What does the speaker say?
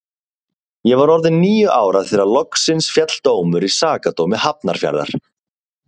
Ég var orðin níu ára þegar loksins féll dómur í Sakadómi Hafnarfjarðar.